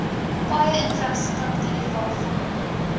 paaie infrastruktuur waarvan